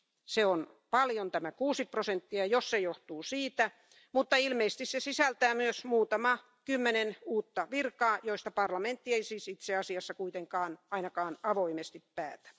Se on paljon tämä 6 prosenttia, jos se johtuu siitä, mutta ilmeisesti se sisältää myös muutaman kymmenen uutta virkaa, joista parlamentti ei siis itse asiassa kuitenkaan ainakaan avoimesti päätä.